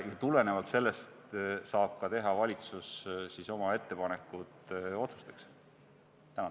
Tulenevalt sellest saab ka valitsus teha oma ettepanekuid otsuste kohta.